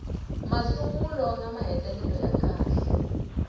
masungulo na mahetelelo ya kahle